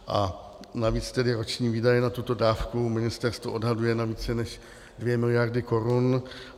A navíc tedy roční výdaje na tuto dávku ministerstvo odhaduje na více než 2 miliardy korun.